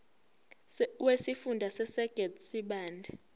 wesifunda sasegert sibande